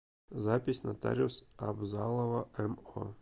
запись нотариус абзалова мо